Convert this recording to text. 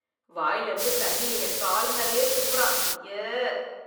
வாயிலிருந்து தண்ணிய என் கால் மேலயே துப்பறான், அய்யே.